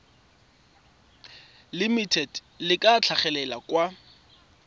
limited le tla tlhagelela kwa